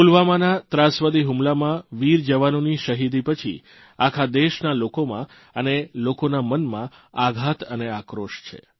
પુલવામાના ત્રાસવાદી હુમલામાં વીરજવાનોની શહીદી પછી આખા દેશના લોકોમાં અને લોકોના મનમા આઘાત અને આક્રોશ છે